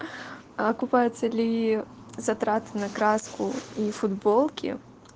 а окупаются ли затраты на краску и футболки